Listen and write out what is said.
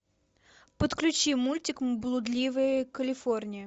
подключи мультик блудливая калифорния